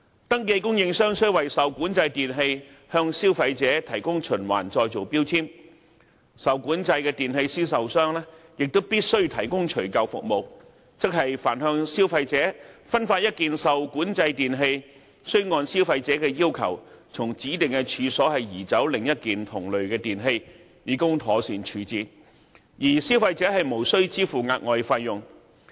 登記供應商須為受管制電器向消費者提供循環再造標籤，受管制電器銷售商亦必須提供除舊服務，即凡向消費者分發一件受管制電器，須按消費者要求，從指定處所移走另一件同類電器，以供妥善處置，而消費者無需支付額外費用。